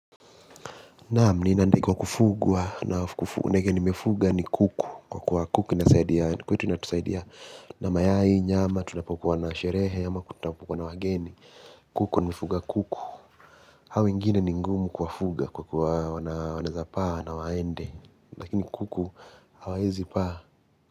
Naam nina kwa kufugwa na kufugwa na kufugwa ni kuku kwa kuwa kuku inasaidia kwetu inatusaidia na mayai nyama tunapokuwa na sherehe ama kutapokuwa na wageni kuku nimefuga kuku, hao wengine ni vigumu kufuga lakini kuku hawaezi paa.